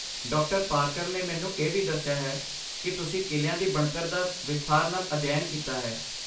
ਡਾ ਪਾਰਕਰ ਨੇ ਮੈਨੂੰ ਇਹ ਵੀ ਦੱਸਿਆ ਹੈ ਕੀ ਤੁਸੀਂ ਕਿਲ੍ਹਿਆ ਦੀ ਬਣਤਰ ਦਾ ਵਿਸਥਾਰ ਨਾਲ ਅਧਿਐਨ ਕੀਤਾ ਹੈ